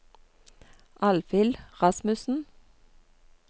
Alvhild Rasmussen